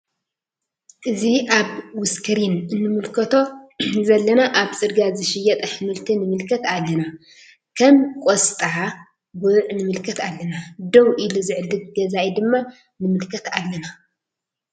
እዚ አብ ውስክሪን እንምልከቶ ዘለና አብ ፅርግያ ዝሽየጥ አሕምልቲ ንምልከት አለና ከም ቆስጣ ጉዕ ንምልከት አለና::ደው ኢሉ ዝዕድግ ገዛኢ ድማ ንምልከት አለና::